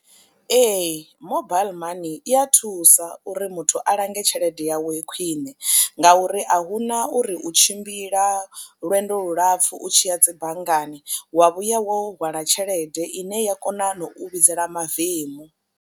Ee, mobile money i a thusa uri muthu a lange tshelede yawe khwiṋe ngauri a hu na uri u tshimbila lwendo lulapfhu u tshi ya dzi banngani wa vhuya wo hwala tshelede ine i ya kona na u vhidzela mavemu.